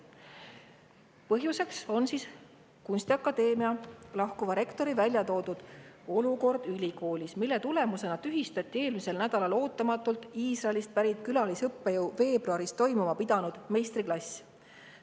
Selle põhjuseks on kunstiakadeemia lahkuva rektori välja toodud olukord ülikoolis, mille tulemusena tühistati eelmisel nädalal ootamatult Iisraelist pärit külalisõppejõu veebruaris toimuma pidanud meistriklass.